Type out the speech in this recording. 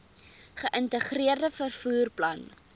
geïntegreerde vervoer plan